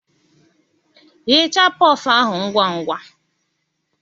Ghechaa pofụụ ahụ ngwa ngwa